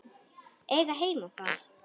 Eiga heima þar.